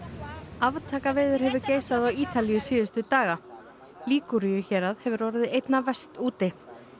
aftakaveður hefur geysað á Ítalíu síðustu daga hérað hefur orðið einna verst úti